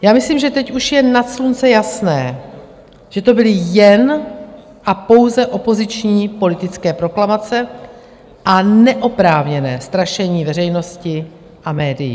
Já myslím, že teď už je nad slunce jasné, že to byly jen a pouze opoziční politické proklamace a neoprávněné strašení veřejnosti a médií.